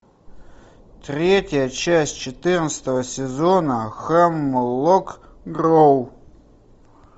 третья часть четырнадцатого сезона хемлок гроув